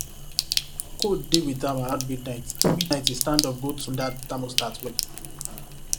cold deal with am around midnight midnight so e stand go tune that thermostat well